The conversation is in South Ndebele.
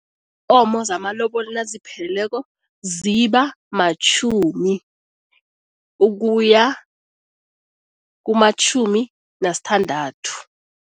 Iinkomo zamalobolo nazipheleleko ziba matjhumi ukuya kumatjhumi nasithandathu.